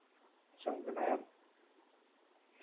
સંઘ ના એમ?